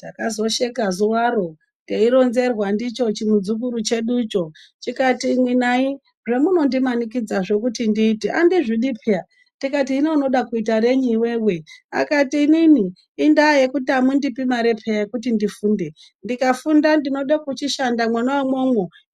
Takazosheka zuwa ro teironzerwa ndicho chimuzukuru cheducho chikati imwi nai zvemunondimanikidza kuti ndiite andizvidi peee tikati hino wode kuite rei iwewe akato inini i daa yekuti amundili mare peya yekuti ndifunde ndikafunda ndinenge ndichida